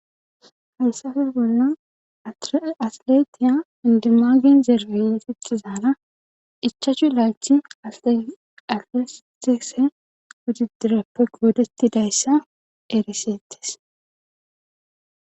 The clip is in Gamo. haysafe bolla atletiya indimagen zerbinsiti zaala ichachu laachi alestise gudi direppe goodettidayssa erisettes